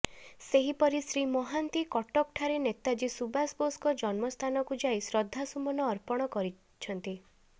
ସେହିପରି ଶ୍ରୀ ମହାନ୍ତି କଟକ ଠାରେ ନେତାଜୀ ସୁବାଷ ବୋଷଙ୍କ ଜନ୍ମ ସ୍ଥାନକୁ ଯାଇ ଶ୍ରଦ୍ଧାସୁମନ ଅର୍ପଣ କରି